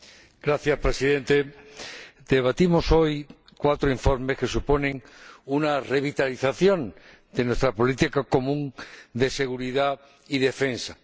Señor Presidente, debatimos hoy cuatro informes que suponen una revitalización de nuestra política común de seguridad y defensa.